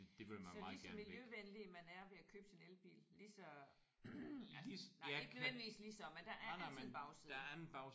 Så lige så miljøvenlig man er ved at købe sin elbil lige så nej ikke nødvendigvis lige så men der er altid en bagside